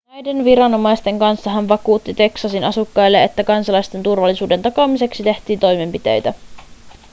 näiden viranomaisten kanssa hän vakuutti teksasin asukkaille että kansalaisten turvallisuuden takaamiseksi tehtiin toimenpiteitä